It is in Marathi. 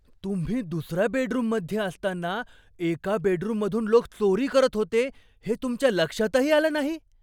तुम्ही दुसऱ्या बेडरुममध्ये असताना एका बेडरूममधून लोक चोरी करत होते हे तुमच्या लक्षातही आलं नाही?